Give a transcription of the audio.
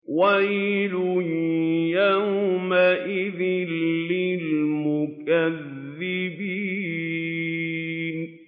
وَيْلٌ يَوْمَئِذٍ لِّلْمُكَذِّبِينَ